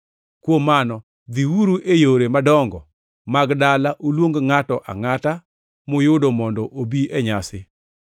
Kuom Mano dhiuru e yore madongo mag dala uluong ngʼato angʼata muyudo mondo obi e nyasi.’